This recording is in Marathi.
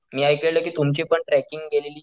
मी ऐकलेलं कि तुमची पण ट्रेकिंग गेलेली.